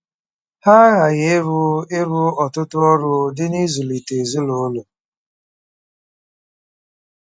Ha aghaghị ịrụ ịrụ ọtụtụ ọrụ dị n'ịzụlite ezinụlọ.